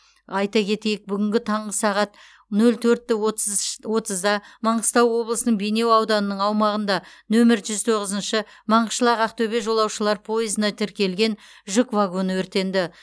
айта кетейік бүгін таңғы сағат нөл төртт отзщ отызда маңғыстау облысының бейнеу ауданының аумағында нөмір жүз тоғызыншы маңғышлақ ақтөбе жолаушылар пойызына тіркелген жүк вагоны өртенді